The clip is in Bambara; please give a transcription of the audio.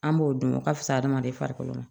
An b'o dun o ka fisa hadamaden farikolo ma